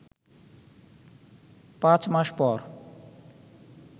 ৫ মাস পর